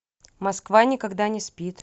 москва никогда не спит